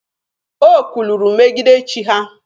O kwuluru megide chi ha.